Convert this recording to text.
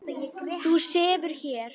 Þú sefur hér.